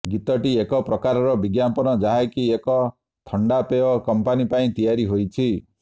ଗୀତଟି ଏକ ପ୍ରକାରର ବିଜ୍ଞାପନ ଯାହାକି ଏକ ଥଣ୍ଡା ପେୟ କମ୍ପାନୀ ପାଇଁ ତିଆରି ହୋଇଛି